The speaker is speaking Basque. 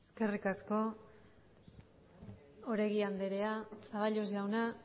eskerrik asko oregi andrea zaballos jauna